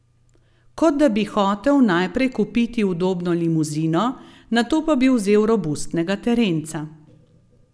Kot da bi hotel najprej kupiti udobno limuzino, nato pa bi vzel robustnega terenca.